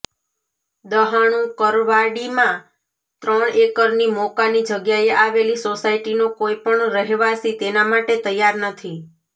દહાણુકરવાડીમાં ત્રણ એકરની મોકાની જગ્યાએ આવેલી સોસાયટીનો કોઈપણ રહેવાસી તેના માટે તૈયાર નથી